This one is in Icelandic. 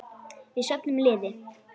Við söfnum liði.